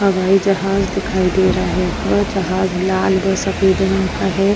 हबाई जहाज दिखाई दे रहा है। वह जहाज लाल व सफ़ेद रंग का है।